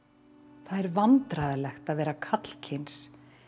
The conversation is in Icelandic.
það er vandræðalegt að vera karlkyns